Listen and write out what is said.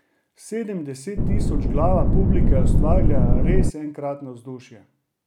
Sedemdesettisočglava publika je ustvarila res enkratno vzdušje.